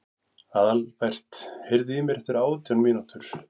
Aðalbert, heyrðu í mér eftir átján mínútur.